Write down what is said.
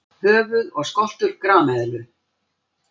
Höfuð og skoltur grameðlu.